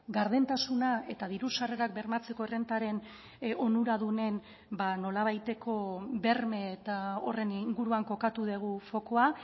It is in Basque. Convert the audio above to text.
gardentasuna eta diru sarrerak bermatzeko errentaren onuradunen nolabaiteko berme eta horren inguruan kokatu dugu fokua